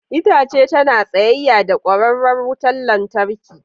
Itace tana tsayayya da kwararar wutar lantarki.